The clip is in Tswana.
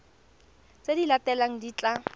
tse di latelang di tla